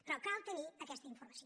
però cal tenir aquesta informació